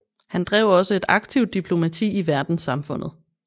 Han drev også et aktivt diplomati i verdenssamfundet